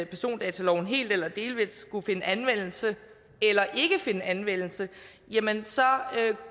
persondataloven helt eller delvis skulle finde anvendelse eller ikke finde anvendelse